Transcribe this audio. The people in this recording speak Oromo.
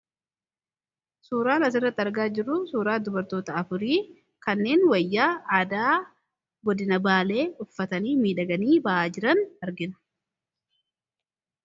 Suuraan asirrati argaa jiru suuraa dubartoota afurii kanneen wayyaa aadaa godina baalee uffatanii miidhaganii ba'aa jiran argina.